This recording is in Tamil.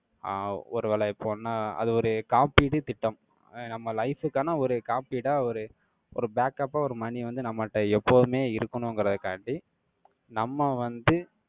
ஆஹ் ஒருவேளை இப்போன்னா, அது ஒரு காப்பீடு திட்டம். அஹ் நம்ம life க்கான, ஒரு காப்பீடா, ஒரு, ஒரு backup ஆ, ஒரு money வந்து, நம்மட்ட எப்போவுமே இருக்கணுங்கிறதுக்காண்டி, நம்ம வந்து,